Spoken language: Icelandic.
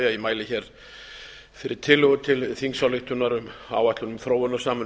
mæli fyrir tillögu til þingsályktunar um áætlun þróunarsamvinnu